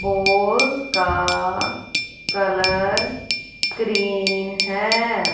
Horse का colour green है।